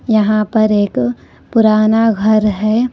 यहां पर एक पुराना घर है।